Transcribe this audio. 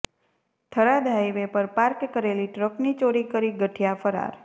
Tharad highway પર park કરેલી ટ્રકની ચોરી કરી ગઠિયા ફરાર